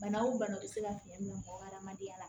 Bana o banaw bɛ se ka fiɲɛ bila mɔgɔ hadamadenya la